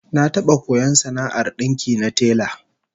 Na taba koyon sana'ar dinki na tela